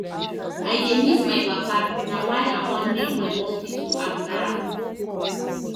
I dey miss my papa na why I wan name my hospital after am